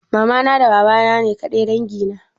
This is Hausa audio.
Mamana da babana ne ƙadai dangi na?